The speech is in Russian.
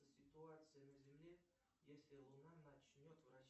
ситуация на земле если луна начнет